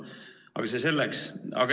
Aga see selleks.